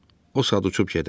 O saat uçub gedər.